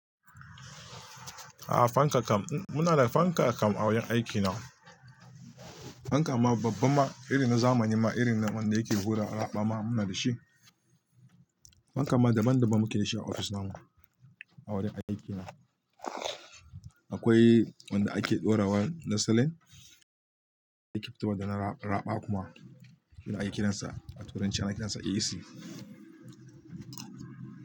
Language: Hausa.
A'a fanka kam muna da fanka kam a wurin aiki na. Fanka ma babba ma irin na zamani ma irin wanda yake hura raɓa ma muna da shi. Fanka ma daban daban muke dashi a ofis na mu a wurin aiki na. Akwai wanda ake ɗora wa na salane yake fitowa da na raɓa kuma irin aikin sa a turanci ana kiran sa AC.